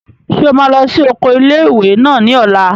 Ṣé o máa lọ sí oko ilé-ìwé náà ní ọ̀la?